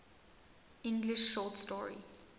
english short story